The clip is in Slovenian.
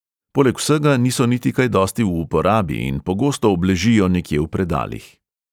Poleg vsega niso niti kaj dosti v uporabi in pogosto obležijo nekje v predalih.